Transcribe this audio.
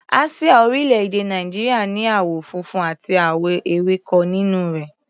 Àsíá orílẹ̀-èdè Nàìjíríà ní àwọ̀ funfun àti àwọ̀ ewéko nínú rẹ̀.